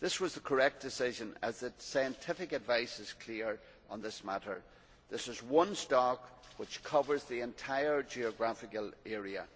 It was correct to do so, as the scientific advice is clear on this matter this is one stock which covers the entire geographical area.